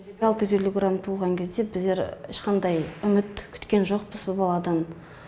алты жүз елу грамм туылған кезде біздер ешқандай үміт күткен жоқпыз бұ баладан